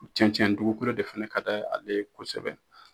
cɛncɛn dugukolo de fana ka da ale kosɛbɛ.